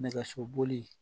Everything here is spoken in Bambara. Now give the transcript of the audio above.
Nɛgɛsoboli